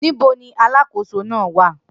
Nibo ni aláàkòso naa wa?